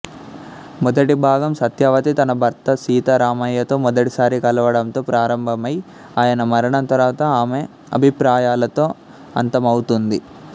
మొదటి భాగం సత్యవతి తన భర్త సీతారామయ్యతో మొదటిసారి కలవడంతో ప్రారంభమై ఆయన మరణం తర్వాత ఆమె అభిప్రాయాలతో అంతమవుతుంది